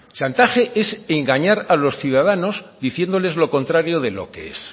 chantaje es engañar a los ciudadanos diciéndoles lo contrario de lo que es